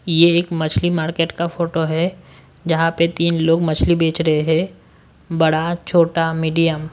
ये एक मछली मार्केट का फोटो है जहां पे तीन लोग मछली बेच रहे हैं बड़ा छोटा मीडियम --